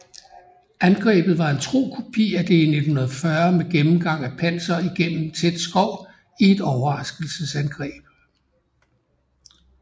Angrebet var en tro kopi af det i 1940 med gennemgang af panser igennem tæt skov i et overraskelsesangreb